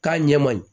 K'a ɲɛ ma ye